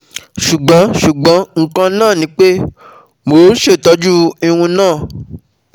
Ṣugbọn Ṣugbọn nkan naa ni pe MO n ṣetọju irun naa